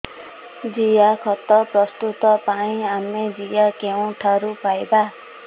ଜିଆଖତ ପ୍ରସ୍ତୁତ ପାଇଁ ଆମେ ଜିଆ କେଉଁଠାରୁ ପାଈବା